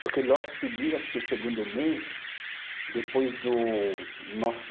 Porque logo em seguida, acho que o segundo mês, depois do, nossa